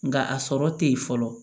Nka a sɔrɔ tɛ ye fɔlɔ